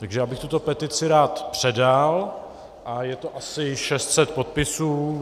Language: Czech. Takže já bych tuto petici rád předal a je to asi 600 podpisů.